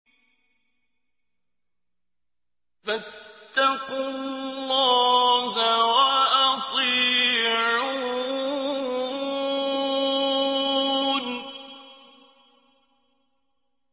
فَاتَّقُوا اللَّهَ وَأَطِيعُونِ